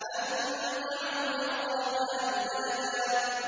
أَن دَعَوْا لِلرَّحْمَٰنِ وَلَدًا